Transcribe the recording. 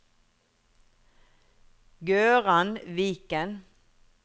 Gøran Viken